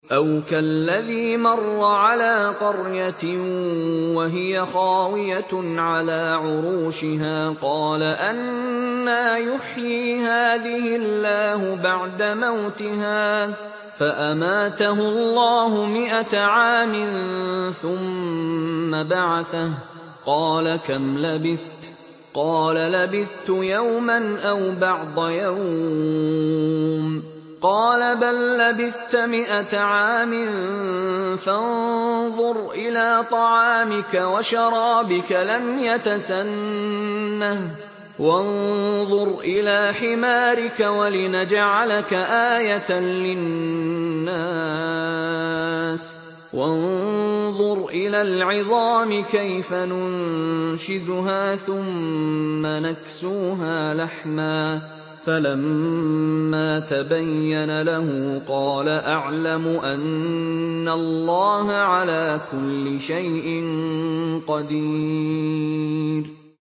أَوْ كَالَّذِي مَرَّ عَلَىٰ قَرْيَةٍ وَهِيَ خَاوِيَةٌ عَلَىٰ عُرُوشِهَا قَالَ أَنَّىٰ يُحْيِي هَٰذِهِ اللَّهُ بَعْدَ مَوْتِهَا ۖ فَأَمَاتَهُ اللَّهُ مِائَةَ عَامٍ ثُمَّ بَعَثَهُ ۖ قَالَ كَمْ لَبِثْتَ ۖ قَالَ لَبِثْتُ يَوْمًا أَوْ بَعْضَ يَوْمٍ ۖ قَالَ بَل لَّبِثْتَ مِائَةَ عَامٍ فَانظُرْ إِلَىٰ طَعَامِكَ وَشَرَابِكَ لَمْ يَتَسَنَّهْ ۖ وَانظُرْ إِلَىٰ حِمَارِكَ وَلِنَجْعَلَكَ آيَةً لِّلنَّاسِ ۖ وَانظُرْ إِلَى الْعِظَامِ كَيْفَ نُنشِزُهَا ثُمَّ نَكْسُوهَا لَحْمًا ۚ فَلَمَّا تَبَيَّنَ لَهُ قَالَ أَعْلَمُ أَنَّ اللَّهَ عَلَىٰ كُلِّ شَيْءٍ قَدِيرٌ